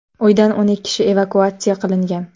Uydan o‘n kishi evakuatsiya qilingan.